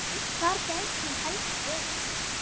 Hvar gæti hún helst verið?